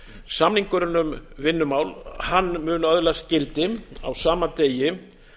samningurinn um vinnumál mun öðlast gildi á sama degi